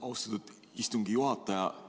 Austatud istungi juhataja!